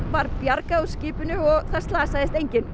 var bjargað úr skipinu og það slasaðist enginn